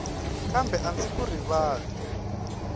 kambe a ndzi ku rivali